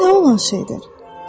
Bu nə olan şeydir?